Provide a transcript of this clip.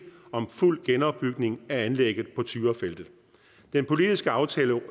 om fuld genopbygning af anlægget på tyrafeltet den politiske aftale